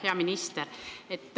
Hea minister!